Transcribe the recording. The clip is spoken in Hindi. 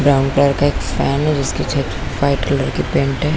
ब्राउन कलर का एक फैन है जिस पर वाइट कलर की पेंट है।